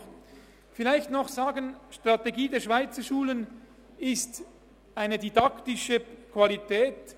Um vielleicht noch dies zu sagen: Die Strategie der Schweizerschulen ist die gesteigerte didaktische Qualität.